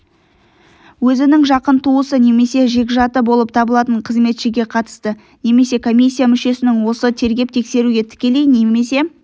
өзінің жақын туысы немесе жекжаты болып табылатын қызметшіге қатысты немесе комиссия мүшесінің осы тергеп-тексеруге тікелей немесе